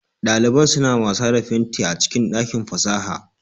Daliban suna wasa da fenti a cikin dakin fasaha